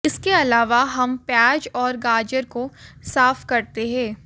इसके अलावा हम प्याज और गाजर को साफ करते हैं